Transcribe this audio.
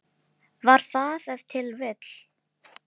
Var það ef til vill.